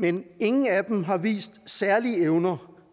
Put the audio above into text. men ingen af dem har vist særlige evner